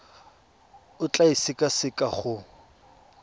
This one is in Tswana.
o tla e sekaseka go